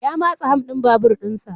Ya matsa ham din babur din sa.